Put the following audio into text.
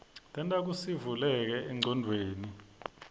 tenta kutsisivuleke engcondweni